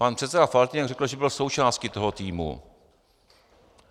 Pan předseda Faltýnek řekl, že byl součástí toho týmu.